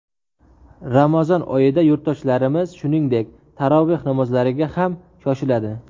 Ramazon oyida yurtdoshlarimiz, shuningdek, taroveh namozlariga ham shoshiladi.